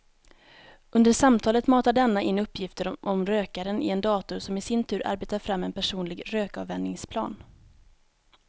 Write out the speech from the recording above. Under samtalet matar denna in uppgifter om rökaren i en dator som i sin tur arbetar fram en personlig rökavvänjningsplan.